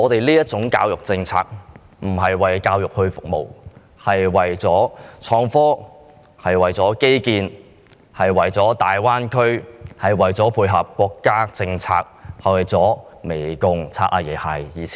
這種教育政策並非為教育服務，而是為創科、基建、大灣區服務，以及為配合國家政策、媚共及"擦'阿爺'鞋"而設。